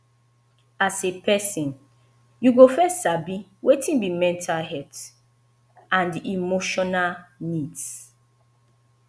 as a person you go first sabi wetin be mental health and emotional needs